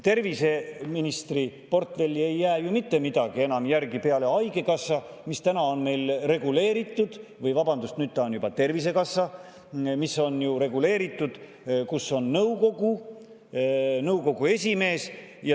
Terviseministri portfelli ei jää ju mitte midagi enam peale haigekassa, mis on ju reguleeritud – vabandust, see on nüüd Tervisekassa –, kus on ka nõukogu esimees.